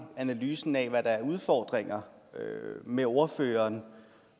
analysen af hvad der er af udfordringer med ordføreren